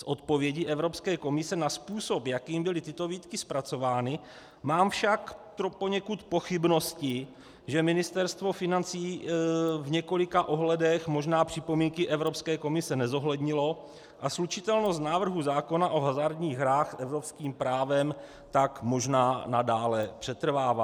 Z odpovědi Evropské komise na způsob, jakým byly tyto výtky zpracovány, mám však poněkud pochybnosti, že Ministerstvo financí v několika ohledech možná připomínky Evropské komise nezohlednilo a slučitelnost návrhu zákona o hazardních hrách s evropským právem tak možná nadále přetrvává.